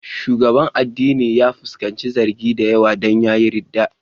Shugaban addinin ya fuskanci zargi da yawa don ya yi ridda.